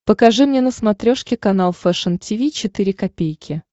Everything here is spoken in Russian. покажи мне на смотрешке канал фэшн ти ви четыре ка